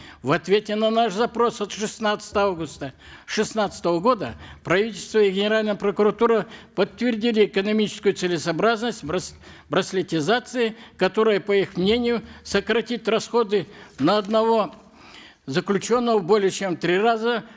в ответе на наш запрос от шестнадцатого августа шестнадцатого года правительство и генеральная прокуратура подтвердили экономическую целесообразность браслетизации которая по их мнению сократит расходы на одного заключенного более чем в три раза